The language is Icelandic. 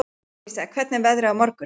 Alísa, hvernig er veðrið á morgun?